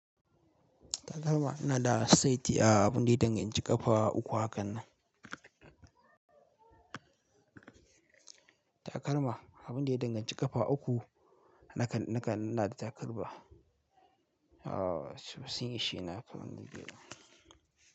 Takalma na da saiti a abin da ya danganci ƙafa uku a kan nan. Takalma abin da ya danganci ƙafa uku nakan, nakan ina da takalma. Aa, sun ishe ni a kan nan gida.